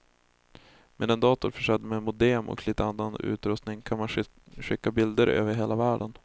Med en dator försedd med modem och lite annan utrustning kan man skicka bilder över hela världen.